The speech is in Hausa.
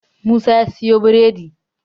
Musa ya siyo biredi